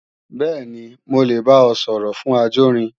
Bẹ́ẹ̀ni, mo lè bá ọ sọ̀rọ̀ fún ajórin